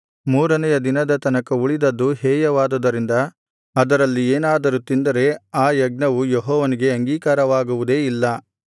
ಮೂರನೆಯ ದಿನದ ತನಕ ಉಳಿದದ್ದು ಹೇಯವಾದುದರಿಂದ ಅದರಲ್ಲಿ ಏನಾದರೂ ತಿಂದರೆ ಆ ಯಜ್ಞವು ಯೆಹೋವನಿಗೆ ಅಂಗೀಕಾರವಾಗುವುದೇ ಇಲ್ಲ